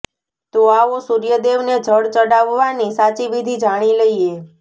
તો આવો સૂર્યદેવને જળ ચડાવવાની સાચી વિધિ જાણી લઈએ